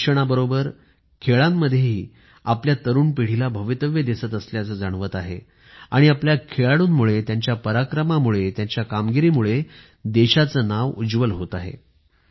शिक्षणाबरोबरच खेळांमध्येही आपल्या तरुण पिढीला भवितव्य दिसत असल्याचं जाणवत आहे आणि आपल्या खेळाडूंमुळे त्यांच्या पराक्रमामुळे त्यांच्या कामगिरीमुळे देशाचे नाव उज्वल होत आहे